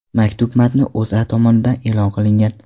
Maktub matni O‘zA tomonidan e’lon qilingan .